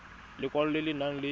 lekwalo le le nang le